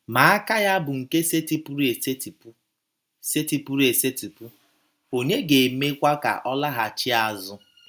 Ma aka Ya bụ nke setịpụrụ esetịpụ; setịpụrụ esetịpụ; ònye ga - emekwa ka ọ laghachi azụ? ”